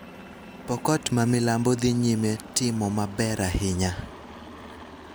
Pokot ma milambo dhi nyime timo maber ahinya